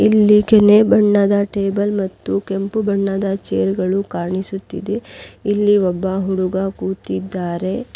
ಇಲ್ಲಿ ಕೆನೆ ಬಣ್ಣದ ಟೇಬಲ್ ಮತ್ತು ಕೆಂಪು ಬಣ್ಣದ ಚೇರ್ ಗಳು ಕಾಣಿಸುತ್ತಿದೆ ಇಲ್ಲಿ ಒಬ್ಬ ಹುಡುಗ ಕೂತಿದ್ದಾರೆ.